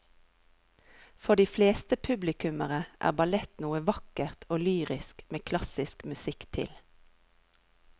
For de fleste publikummere er ballett noe vakkert og lyrisk med klassisk musikk til.